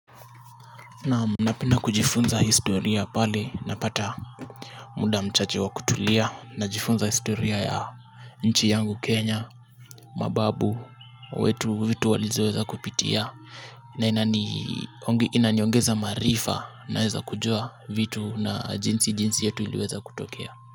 Naam, napenda kujifunza historia pale napata muda mchache wa kutulia. Najifunza historia ya nchi yangu Kenya. Mababu wetu vitu walizoweza kupitia na inaniongeza maarifa naeza kujua vitu na jinsi jinsi yetu iliweza kutokea.